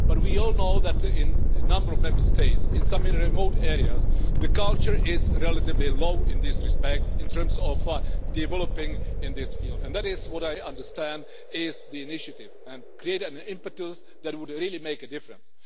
But we all know that in a number of Member States, in some remote areas, the culture is relatively low in this respect in terms of developing in this field, and that is what I understand the initiative to be to create an impetus that would really make a difference.